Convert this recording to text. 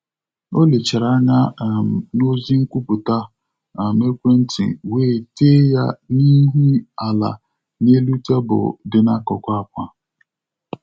O lechara anya um n'ozi nkwupụta um ekwentị ya, wee tee ya ihu ala n’elu tebụl dị n’akụkụ àkwà.